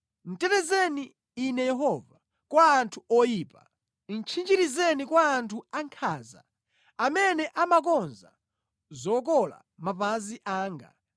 Tetezeni Inu Yehova, kwa anthu oyipa; tchinjirizeni kwa anthu ankhanza amene amakonza zokola mapazi anga.